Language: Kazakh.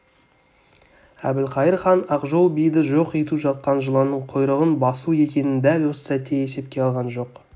әбілқайыр хан ақжол биді жоқ ету жатқан жыланның құйрығын басу екенін дәл осы сәтте есепке алған жоқ